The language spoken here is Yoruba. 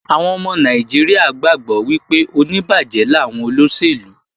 Àwọn ọmọ Nàìjíríà gbàgbọ́ wípé oníbàjẹ́ làwọn olóṣèlú